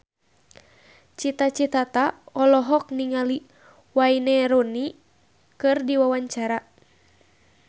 Cita Citata olohok ningali Wayne Rooney keur diwawancara